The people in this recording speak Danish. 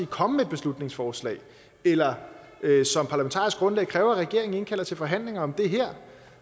komme med et beslutningsforslag eller som parlamentarisk grundlag kræve at regeringen indkalder til forhandlinger om det her